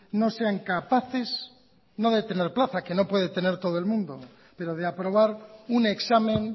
no sean capaces no de tener plaza que no puede tener todo el mundo pero de aprobar un examen